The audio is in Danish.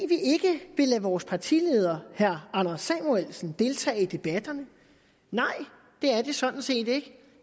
er vores partileder herre anders samuelsen deltage i debatterne nej det er det sådan set ikke